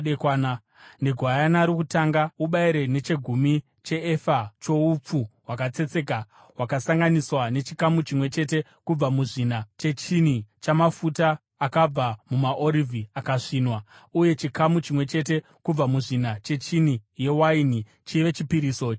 Negwayana rokutanga ubayire nechegumi cheefa choupfu hwakatsetseka hwakasanganiswa nechikamu chimwe chete kubva muzvina chehini chamafuta akabva mumaorivhi akasvinwa, uye chikamu chimwe chete kubva muzvina chehini yewaini chive chipiriso chinonwiwa.